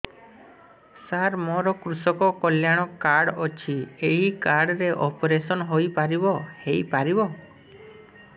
ସାର ମୋର କୃଷକ କଲ୍ୟାଣ କାର୍ଡ ଅଛି ଏହି କାର୍ଡ ରେ ଅପେରସନ ହେଇପାରିବ